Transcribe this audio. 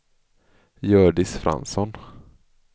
Hjördis Fransson